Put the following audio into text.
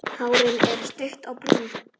Hárin er stutt og brún.